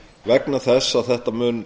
vegna þess að dómurinn